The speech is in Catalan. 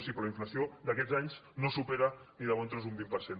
sí però la inflació d’aquests anys no supera ni de bon tros un vint per cent